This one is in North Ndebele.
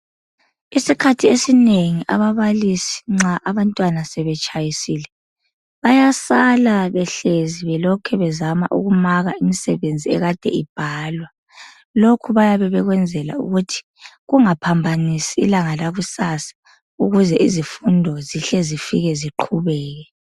isikhathi esinengi ababalisi nxa abantwana sebetshayisile bayasala behlezi sebelokhe bezama ukumaka imisebenzi ebekade ibhalwa lokhu bayabe bekwenzela ukuthi kungaphambanisi ilanga lakusasa ukuze izifundo zihle zike ziqhubeke